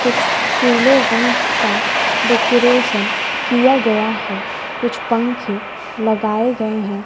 कुछ पीले रंग का डेकोरेशन किया गया है कुछ पंखे लगाए गए हैं।